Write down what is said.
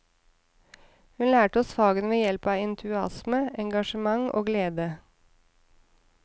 Hun lærte oss fagene ved hjelp av entusiasme, engasjement og glede.